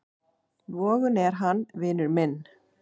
Vogun er hann, vinur minn.